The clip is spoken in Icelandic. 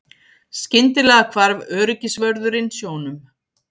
Skyndilega hvarf öryggisvörðurinn sjónum.